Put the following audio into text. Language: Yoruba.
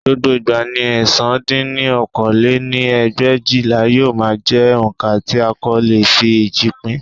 Gbogbo ìgbà ni ẹ̀sán dín ní okòó lé-ní ẹgbẹ̀éjìlá yóò máa jẹ́ oǹkà tí a kò lè fi eéjì pín